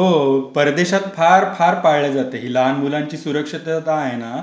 हो, परदेशात फार फार पाळली जाते ही लहान मुलांची सुरक्षितता आहे ना,